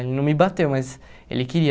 Ele não me bateu, mas ele queria.